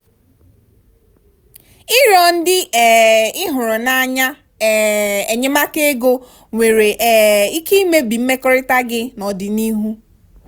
ịrịọ ndị um ị hụrụ n'anya um enyemaka ego nwere um ike imebi mmekọrịta gị n'ọdịnihu.